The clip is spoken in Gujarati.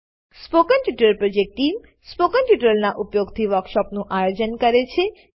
spoken tutorial project team spoken ટ્યુટોરીયલોનાં ઉપયોગથી વર્કશોપોનું આયોજન કરે છે